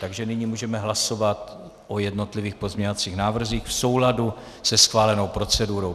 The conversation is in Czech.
Takže nyní můžeme hlasovat o jednotlivých pozměňovacích návrzích v souladu se schválenou procedurou.